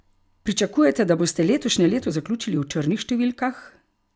Pričakujete, da boste letošnje leto zaključili v črnih številkah?